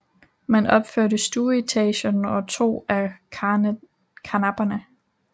Man opførte stueetagen og to af karnapperne